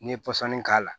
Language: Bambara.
N'i ye pɔsɔni k'a la